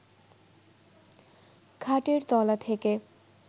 খাটের তলা থেকে